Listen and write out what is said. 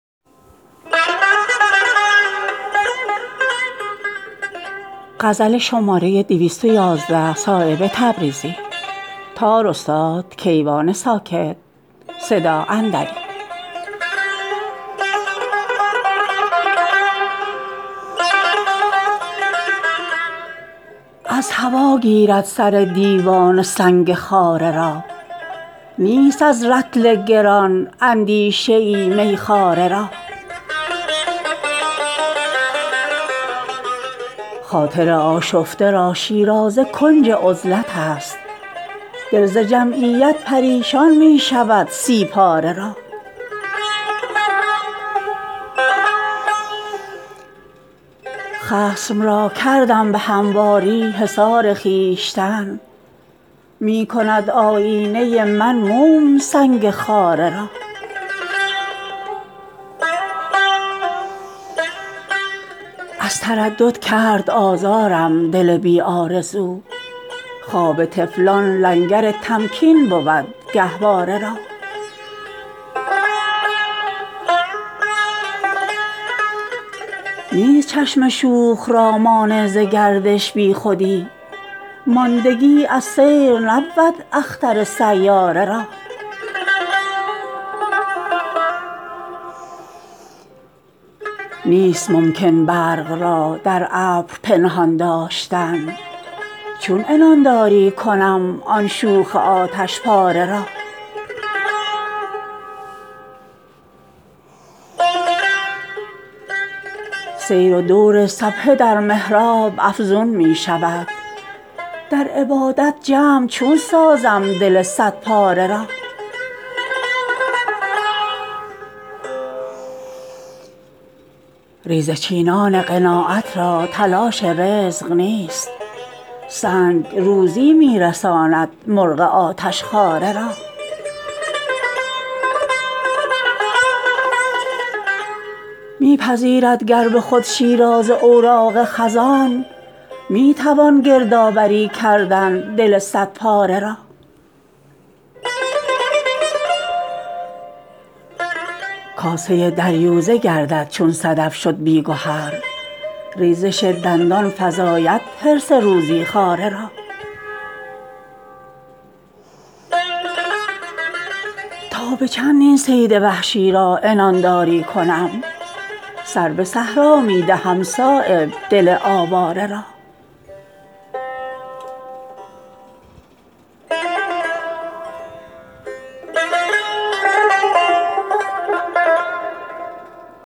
از هوا گیرد سر دیوانه سنگ خاره را نیست از رطل گران اندیشه ای میخواره را خاطر آشفته را شیرازه کنج عزلت است دل ز جمعیت پریشان می شود سی پاره را خصم را کردم به همواری حصار خویشتن می کند آیینه من موم سنگ خاره را از تردد کرد آزادم دل بی آرزو خواب طفلان لنگر تمکین بود گهواره را نیست چشم شوخ را مانع ز گردش بیخودی ماندگی از سیر نبود اختر سیاره را نیست ممکن برق را در ابر پنهان داشتن چون عنانداری کنم آن شوخ آتشپاره را سیر و دور سبحه در محراب افزون می شود در عبادت جمع چون سازم دل صد پاره را ریزه چینان قناعت را تلاش رزق نیست سنگ روزی می رساند مرغ آتشخواره را می پذیرد گر به خود شیرازه اوراق خزان می توان گردآوری کردن دل صد پاره را کاسه دریوزه گردد چون صدف شد بی گهر ریزش دندان فزاید حرص روزی خواره را تا به چند این صید وحشی را عنانداری کنم سر به صحرا می دهم صایب دل آواره را